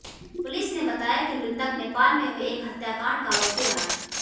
police ने बताया कि मृतक नेपाल में हुए एक हत्याकांड का आरोपी रहा है